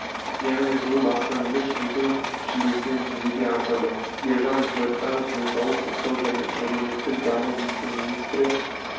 яғни жыл басынан емес жылдың шілдесінен жүзеге асады елжан біртанов денсаулық сақтау және әлеуметтік даму вице-министрі